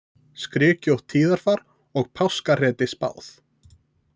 Skrykkjótt tíðarfar og páskahreti spáð